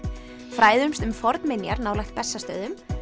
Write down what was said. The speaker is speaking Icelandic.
fræðumst um fornminjar nálægt Bessastöðum